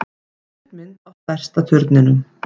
Stuttmynd á stærsta turninum